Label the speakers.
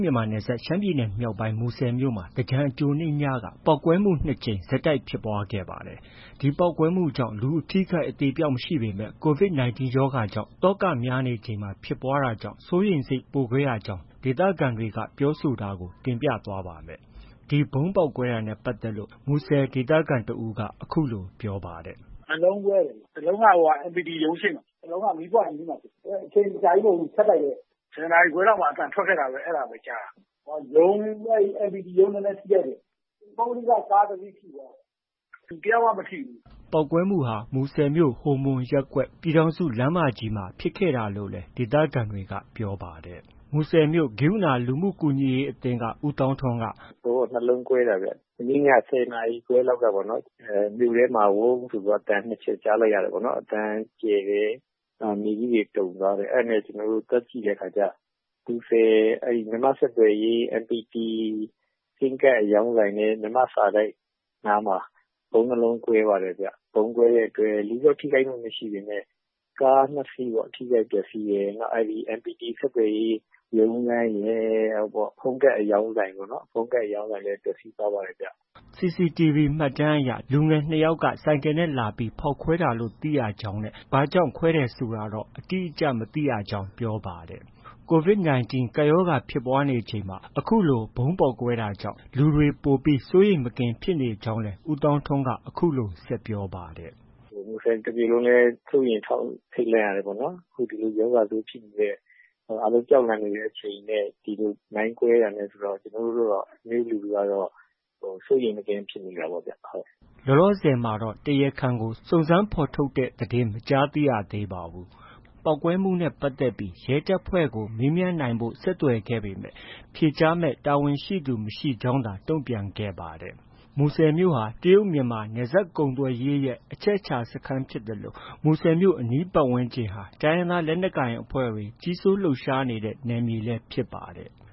Speaker 1: မြန်မာနယ်စပ် ရှမ်းပြည်နယ်မြောက်ပိုင်း မူဆယ်မြို့မှာ သင်္ကြန်အကြိုနေ့ညက ပေါက်ကွဲမှု နှစ်ကြိမ် ဆက်တိုက်ဖြစ်ပွားခဲ့ပါတယ်။ ဒီပေါက်ကွဲမှုကြောင့် လူအထိအခိုက် အသေအပျောက်မရှိပေမဲ့ COVID-19 ရောဂါကြောင့် သောကများနေချိန်မှာ ဖြစ်ပွားတာကြောင့် စိုးရိမ်စိတ် ပိုခဲ့ကြရကြောင်း ဒေသခံတွေက ပြောဆိုတာကို ဗွီအိုအေမြန်မာပိုင်းသတင်းထောက် ကိုမိုးဇော်က တင်ပြသွားပါမယ်။ ဒီဗုံးပေါက်ကွဲတာနဲ့ ပတ်သက်လို့ ဒေသခံတစ်ဦးက အခုလို ပြောပြပါတယ်။
Speaker 2: “၂ လုံးကွဲတယ်။ တစ်လုံးက MPT ရုံးရှေ့မှာ၊ တစ်လုံးက မီးပွိုင့်အနီးမှာဖြစ်တာ။ အချိန်အကြာကြီးမဟုတ်ဘူး။ ဆက်တိုက်ပဲ၊ ၁၀ နာရီခွဲလောက်မှာ အသံထွက်ခဲ့တာပဲ။ အဲဒါပဲ ကြားတာ။ ရုံး MPT ရုံး နည်းနည်း ထိခိုက်တယ်။ ပုဂ္ဂလိကကား တစ်စီးထိတယ်။ လူတယောက်မှ မထိဘူး
Speaker 1: ။” ပေါက်ကွဲမှုဟာ မူဆယ်မြို့ ဟိုမွန်ရပ်ကွက်၊ ပြည်ထောင်စုလမ်းမကြီးမှာ ဖြစ်ခဲ့တာလို့လည်း ဒေသခံတွေက ပြောပါတယ်။ “ဗုံးက ၂
Speaker 2: လုံးကွဲတာဗျ။ မနေ့ည ၁၀ နာရီခွဲ လောက်ကပေါ့နော်။ မြို့ထဲမှာ ဝုန်းဆိုပြီး အသံ ၂ ချက် ကြားလိုက်ရတာပေါ့။ အသံကျယ်တယ်။ မြေကြီးတွေ တုန်သွားတယ်။ အဲဒါနဲ့ ကျနော်တို့ သွားကြည့်တဲ့အခါကျ မူဆယ် မြန်မာ့ဆက်သွယ်ရေး MPT ဆင်းကတ်အရောင်းဆိုင်နဲ့ မြန်မာ့စာတိုက်နားမှာ ဗုံး ၂ လုံး ကွဲပါတယ်။ ဗုံးကွဲတဲ့အတွက် လူတော့ ထိခိုက်မှု မရှိပေမဲ့ ကား၂ စီး ထိခိုက်ပျက်ဆီးတယ်။ အဲဒီ MPT ဆက်သွယ်ရေးရုံးခန်းရဲ့ ဖုန်းကတ်အရောင်းဆိုင်လည်း ပျက်ဆီးသွားပါတယ်
Speaker 1: ။” စီစီတီဗွီ မှတ်တမ်းအရ လူငယ် ၂ ယောက်က ဆိုင်ကယ်နဲ့ လာပြီး ဖောက်ခွဲတာလို့ သိရကြောင်းနဲ့ ဘာကြောင့် ခွဲတယ်ဆိုတာတော့ အတိအကျ မသိရကြောင်းပြောပါတယ်။ COVID-19 ကပ်ရောဂါဖြစ်နေချိန် အခုလိုပေါက်ကွဲတာကြောင့် လူတွေ ပိုပြီး စိုးရိမ်မကင်းဖြစ်နေကြောင်းလည်း ဦးသောင်းထွန်းက အခုလို ဆက်ပြောပါတယ်
Speaker 2: ။ “မူဆယ်တစ်မြို့လုံးလည်း စိုးရိမ်ထိတ်လန့်ရတယ်ပေါ့နော်။ အခုဒီလို ရောဂါဆိုးဖြစ်နေတဲ့ အားလုံးကြောက်လန့်နေတဲ့အချိန်နဲ့ ဒီလို မိုင်းကွဲတာနဲ့ဆိုတော့ ကျနော်တို့ကတော့ မြို့လူထုကတော့ စိုးရိမ်မကင်းဖြစ်မိတာပေါ့ဗျ။
Speaker 1: ” လောလောဆယ်တော့ တရားခံကို စုံစမ်းဖော်ထုတ်တဲ့ သတင်းတော့ မကြားသိရသေးပါဘူး။ ပေါက်ကွဲမှုနဲ့ ပတ်သက်ပြီး ရဲတပ်ဖွဲ့ကို မေးမြန်းနိုင်ဖို့ ဆက်သွယ်ခဲ့ပေမဲ့ ဖြေကြားမယ့် တာဝန်ရှိသူ မရှိကြောင်းသာ တုံ့ပြန်ခဲ့ပါတယ်။ မူဆယ်မြို့ဟာ တရုတ်-မြန်မာ နယ်စပ်ကုန်သွယ်ရေးရဲ့ အချက်အချာ စခန်းဖြစ်သလို မူဆယ်မြို့ အနီးပတ်ဝန်းကျင်ဟာ တိုင်းရင်းသားလက်နက်ကိုင်အဖွဲ့တွေ ကြီးစိုးလှုပ်ရှားတဲ့နေရာလည်း ဖြစ်ပါတယ်။